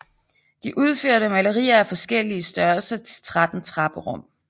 De udførte malerier af forskellige størrelser til 13 trapperum